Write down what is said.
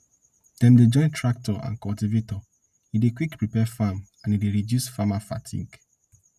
dem dey join tractor and cultivator e dey quick prepare farm and e dey reduce farmer fatigue